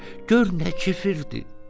Gör nə kifirdir!